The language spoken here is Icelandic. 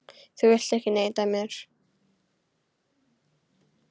Þú vilt ekki neita mér.